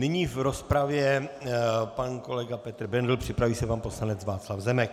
Nyní v rozpravě pan kolega Petr Bendl, připraví se pan poslanec Václav Zemek.